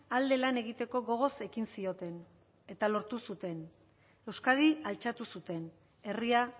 alde lan egiteko gogoz ekin zioten eta lortu zuten euskadi altxatu zuten herria